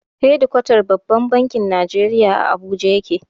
Hedikwatar babban bankin Nigeria (CBN) a Abuja yake.